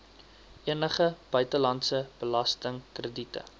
enige buitelandse belastingkrediete